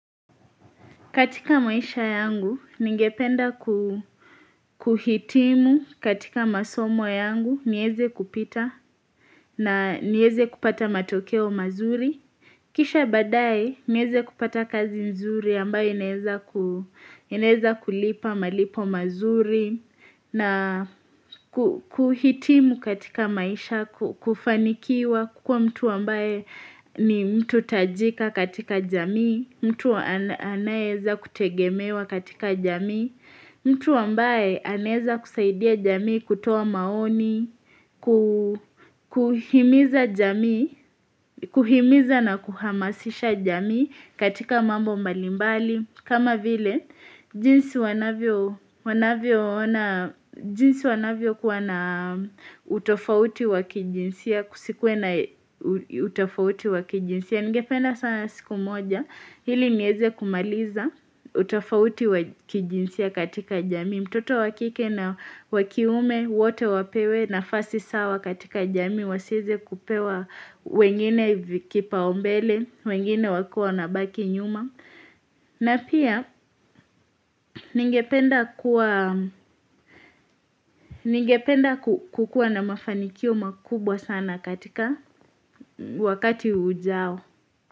Katika maisha yangu ningependa ku kuhitimu katika masomo yangu nieze kupita na nieze kupata matokeo mazuri kisha baadaye nieze kupata kazi nzuri ambayo ineza kulipa malipo mazuri na kuhitimu katika maisha kufanikiwa kukuwa mtu ambaye ni mtu tajika katika jamii mtu anayeeza kutegemewa katika jamii mtu ambaye anaeza kusaidia jamii kutoa maoni Kuhimiza jamii Kuhimiza na kuhamasisha jamii katika mambo mbalimbali kama vile, jinsi wanavyo kuwa na utofauti wakijinsia Kusikuwe na utofauti wa kijinsia Ningependa sana siku moja ili nieze kumaliza utofauti wa kijinsia katika jamii mtoto wa kike na wakiume wote wapewe nafasi sawa katika jamii Wasieze kupewa wengine kipaumbele, wengine wakiwa wanabaki nyuma na pia ningependa kukuwa na mafanikio makubwa sana katika wakati ujao.